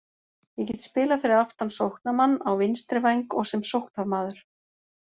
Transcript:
Ég get spilað fyrir aftan sóknarmann, á vinstri væng og sem sóknarmaður.